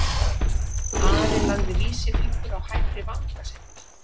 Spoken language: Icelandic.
Ari lagði vísifingur á hægri vanga sinn.